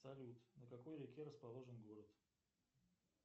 салют на какой реке расположен город